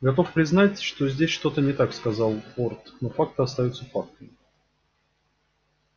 готов признать что здесь что-то не так сказал борт но факты остаются фактами